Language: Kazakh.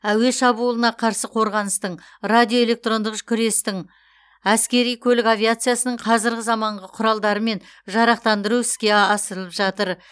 әуе шабуылына қарсы қорғаныстың радиоэлектрондық күрестің әскери көлік авиациясының қазіргі заманғы құралдарымен жарақтандыру іске асырылып жатыр